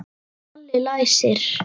Palli læsir.